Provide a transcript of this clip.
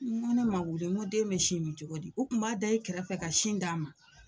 N ko ni ne ma wuli den be sin mi cogo di? u Kun b'a da i kɛrɛfɛ ka sin d'a ma.